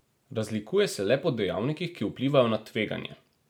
Razlikuje se le po dejavnikih, ki vplivajo na tveganje.